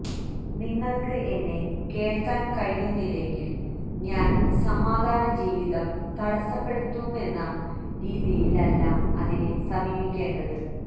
നിങ്ങൾക്ക് എന്നെ കേൾക്കാൻ കഴിയുന്നില്ലെങ്കിൽ ഞാൻ സമാധാന ജീവിതം തടസ്സപ്പെടുത്തുമെന്ന രീതിയിൽ അല്ല അതിനെ സമീപിക്കേണ്ടത്